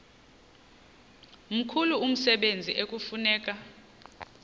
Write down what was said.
mkhulu umsebenzi ekufuneka